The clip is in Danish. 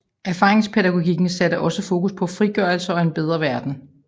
Erfaringspædagogikken satte også fokus på frigørelse og en bedre verden